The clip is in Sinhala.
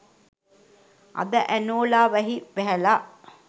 අද ඇනෝලා වැහි වැහැලා